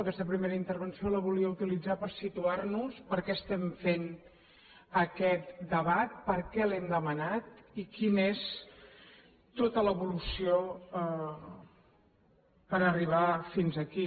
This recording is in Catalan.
aquesta primera intervenció la volia utilitzar per situar nos per què estem fent aquest debat per què l’hem demanat i quina és tota l’evolució per arribar fins aquí